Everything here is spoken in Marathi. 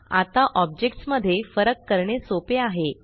आता ऑब्जेक्ट्स मध्ये फरक करणे सोपे आहे